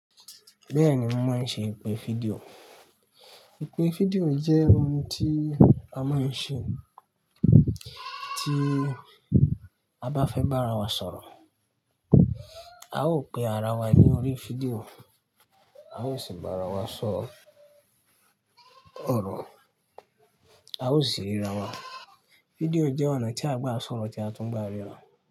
Bẹ́ẹ̀ni, mo mọún ṣe ìpè fídíò. Ìpè fídíò jẹ́ ohun tí a máa ń ṣe tí a bá fẹ́ bá ara wa sọ̀rọ̀. A ó pe ara wa lórí fídíò, a ó sì bá ara wa sọ ọ̀rọ̀, a ó sì ríra wa. Fídíò jẹ́ ọ̀nà tí a gbá sọ̀rọ̀ tí a tún gbá ríra.